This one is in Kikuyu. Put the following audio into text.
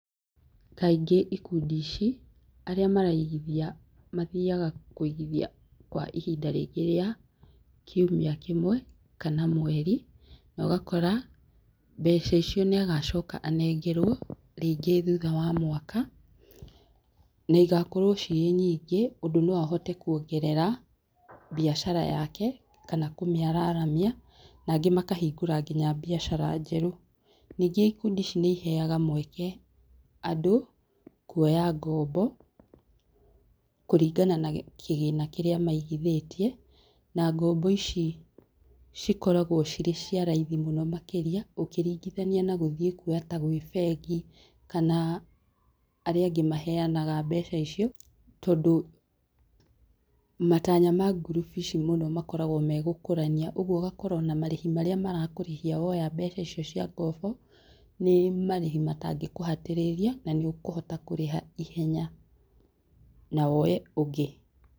Kaingĩ ikundi ici aria maraigithia mathiaga kũigithia kwa ihinda rĩngĩ ria kiumia kĩmwe kana mweri, na ũgakora mbeca icio nĩagacoka anengerwo rĩngĩ thutha wa mwaka, na igakorwo cirĩ nyingĩ ũndũ no ahote kuongerera biacara yake kana kũmĩararamia nangĩ makahingũra nginya biacara njerũ. Ningĩ ikundi ici nĩiheyaga mweke andũ kuoya ngombo kũringana na kĩgĩna kĩrĩa maigithĩtie, na ngombo ici cikoragwo cirĩ cia raithi mũno makĩria ũkĩringithania na gũthiĩ kũoya ta gwĩ bengi kana arĩa angĩ maheyanaga mbeca icio, tondũ matanya ma ngurubu ici mũno makoragwo nĩ gũkũrania, ũguo ũgakora marĩhi ona marĩa marakũrĩhia woya mbeca icio cia ngombo, nĩ marĩhi matangĩkũhatĩrĩria na nĩũkũhota kũrĩha ihenya na woye ũngĩ.